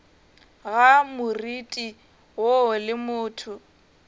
ga moriti woo le motho